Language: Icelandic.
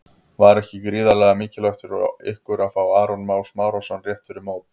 Var ekki gríðarlega mikilvægt fyrir ykkur að fá Aron Má Smárason rétt fyrir mót?